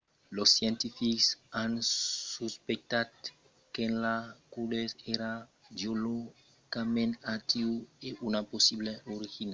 los scientifics an suspectat qu'enceladus èra geologicament actiu e una possibla origina de l'anèl e de glaç de saturn